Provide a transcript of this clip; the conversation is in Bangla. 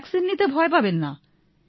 ভ্যাক্সিন নিতে ভয় পাবেন না